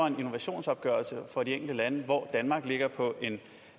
en innovationsopgørelse for de enkelte lande hvor danmark ligger på en